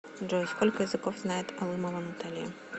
джой сколько языков знает алымова наталья